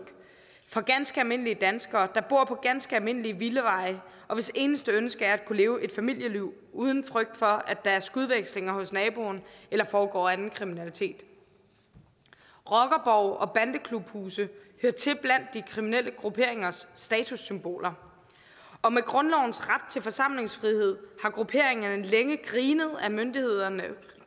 for ganske almindelige danskere der bor på ganske almindelige villaveje og hvis eneste ønske er at kunne leve et familieliv uden frygt for at der er skudvekslinger hos naboen eller foregår anden kriminalitet rockerborge og bandeklubhuse hører til blandt de kriminelle grupperingers statussymboler og med grundlovens ret til forsamlingsfrihed har grupperingerne længe grinet myndighederne